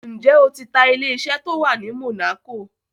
Ǹjẹ́ o ti ta ilé-isẹ́ tó wà ní Monaco?